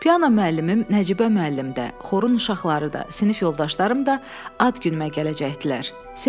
Piano müəllimim Nəcibə müəllim də, xorun uşaqları da, sinif yoldaşlarım da ad günümdə gələcəkdilər.